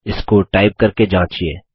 इसको टाइप करके जाँचिये